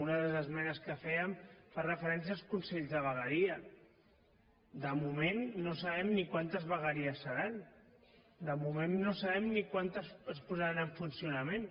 una de les esmenes que fèiem fa referència als consells de vegueria de moment no sabem ni quantes vegueries seran de moment no sabem ni quantes es posaran en funcionament